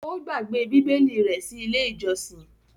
Ó gbàgbé Bíbélì rẹ̀ sí Ilé-ìjọsìn.